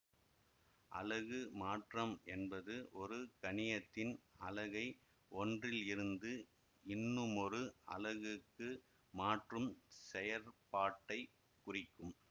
அலகு மாற்றம் என்பது ஒரு கணியத்தின் அலகை ஒன்றில் இருந்து இன்னுமொரு அலகுக்கு மாற்றும் செயற்பாட்டைக் குறிக்கும்